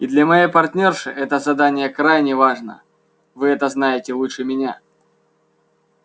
и для моей партнёрши это задание крайне важно вы это знаете лучше меня